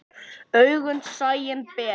Augað sæinn ber.